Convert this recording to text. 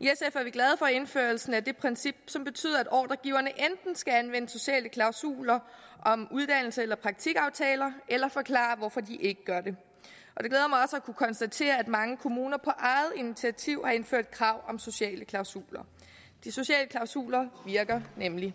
er vi glade for indførelsen af det princip som betyder at ordregiverne enten skal anvende sociale klausuler om uddannelse eller praktikaftaler eller forklare hvorfor de ikke gør at kunne konstatere at mange kommuner på eget initiativ har indført krav om sociale klausuler de sociale klausuler virker nemlig